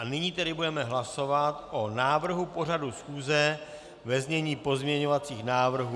A nyní tedy budeme hlasovat o návrhu pořadu schůze ve znění pozměňovacích návrhů.